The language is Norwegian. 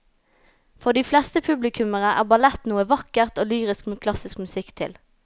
For de fleste publikummere er ballett noe vakkert og lyrisk med klassisk musikk til.